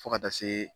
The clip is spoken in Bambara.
Fo ka taa se